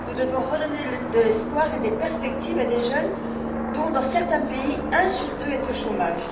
Nous devons redonner de l'espoir et des perspectives à des jeunes dont, dans certains pays, un sur deux est au chômage.